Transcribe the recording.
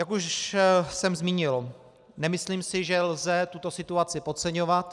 Jak už jsem zmínil, nemyslím si, že lze tuto situaci podceňovat.